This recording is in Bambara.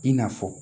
I n'a fɔ